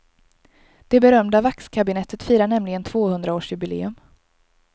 Det berömda vaxkabinettet firar nämligen tvåhundraårsjubileum.